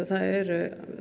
það eru